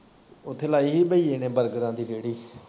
ਉੱਥੇ ਲਾਈ ਹੀ ਬਈਏ ਨੇ ਬਰਗਰਾਂ ਦੀ ਰੇੜੀ।